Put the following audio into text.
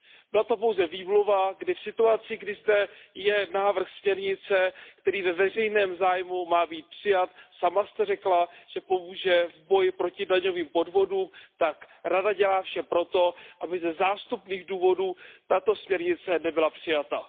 Byla to pouze výmluva, kdy v situaci, kdy je zde návrh směrnice, který ve veřejném zájmu má být přijat a který, jak jste sama řekla, pomůže v boji proti daňovým podvodům, tak Rada dělá vše pro to, aby ze zástupných důvodů tato směrnice nebyla přijata.